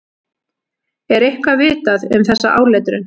Er eitthvað vitað um þessa áletrun?